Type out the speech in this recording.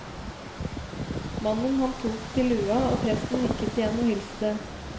Mannen han tok til lua, og presten nikket igjen og hilste.